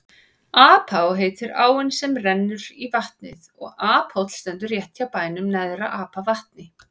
Apá heitir áin sem rennur í vatnið og Aphóll stendur rétt hjá bænum Neðra-Apavatni.